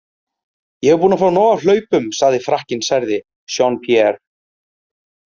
Ég er búinn að fá nóg af hlaupum, sagði Frakkinn særði, Jean- Pierre.